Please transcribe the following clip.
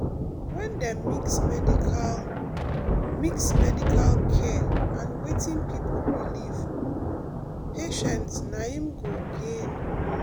when dem mix medical mix medical care and wetin people believe patients naim go gain more.